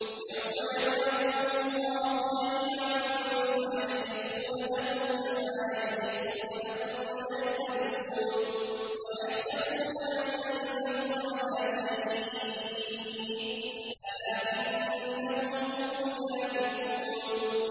يَوْمَ يَبْعَثُهُمُ اللَّهُ جَمِيعًا فَيَحْلِفُونَ لَهُ كَمَا يَحْلِفُونَ لَكُمْ ۖ وَيَحْسَبُونَ أَنَّهُمْ عَلَىٰ شَيْءٍ ۚ أَلَا إِنَّهُمْ هُمُ الْكَاذِبُونَ